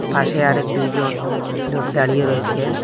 পাশে আরেক দুইজন লোক দাঁড়িয়ে রয়েসে।